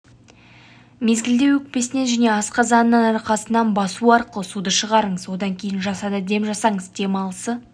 мезгілде өкпесінен және асқазанынан арқасынан басу арқылы суды шығарыңыз одан кейін жасанды дем жасаңыз демалысы